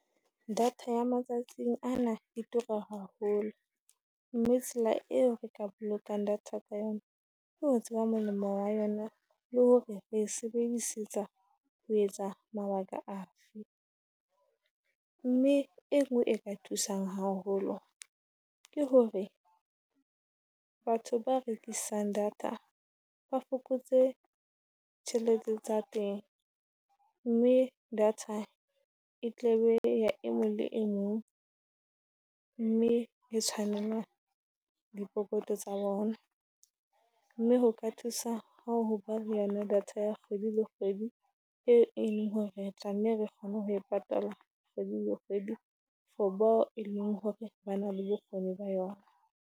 Data ya matsatsing ana e tura haholo, mme tsela eo re ka bolokang data ka yona ho tseba molemo wa yona, le hore re sebedisetsa ho etsa mabaka afe. Mme enngwe e ka thusang haholo ke hore batho ba rekisang data ba fokotse tjhelete tsa teng, mme data e tla be e ya e mong le e mong mme e tshwanelwa dipokoto tsa bona. Mme ho ka thusa ha hoba le ha data ya kgwedi le kgwedi, e e leng hore re tla nne re kgone ho e patala kgwedi le kgwedi. For bao e leng hore ba na le bokgoni ba yona.